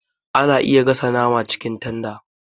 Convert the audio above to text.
Ana iya gasa nama cikin tanda